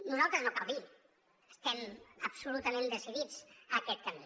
nosaltres no cal dir ho estem absolutament decidits a aquest camí